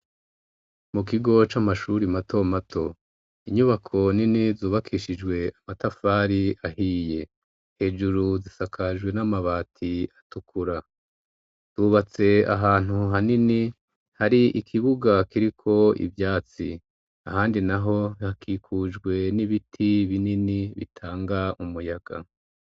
Mu kigo c'amashuri mato mato, inyubako nini zubakishijwe amatafari ahiye. Hejuru zisakajwe n'amabati atukura yubatse ahantu hanini hari ikibuga kiriko ivyatsi ,ahandi naho hakikujwe n'ibiti binini bitanga umuyaga.